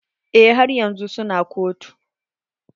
Eh, haryan su na kotu.